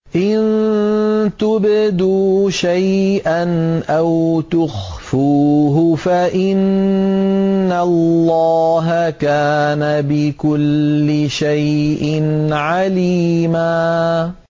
إِن تُبْدُوا شَيْئًا أَوْ تُخْفُوهُ فَإِنَّ اللَّهَ كَانَ بِكُلِّ شَيْءٍ عَلِيمًا